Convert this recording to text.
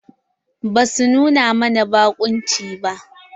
Basu nuna mana baƙunci ba.